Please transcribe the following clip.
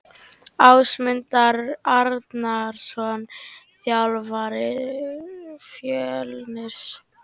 Ásmundur Arnarsson þjálfari Fjölnis.